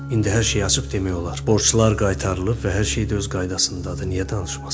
İndi hər şeyi açıq demək olar, borçlar qaytarılıb və hər şey də öz qaydasındadır, niyə danışmasın?